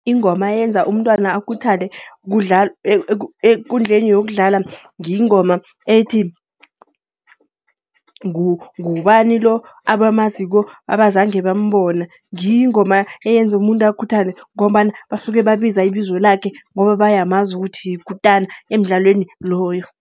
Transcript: Ingoma eyenza umntwana akhuthale ekundleni yokudlala yingoma ethi, ngubani lo, abamaziko abazange bambona. Ngiyo ingoma eyenza umuntu akhuthale. Ngombana basuke babiza ibizo lakhe, ngoba bayamazi ukuthi yikutana emdlalweni loyo.